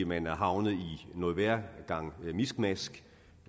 man er havnet i en værre gang miskmask